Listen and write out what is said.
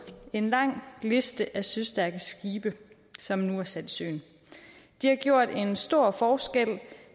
en lang liste af søstærke skibe som nu er sat i søen de har gjort en stor forskel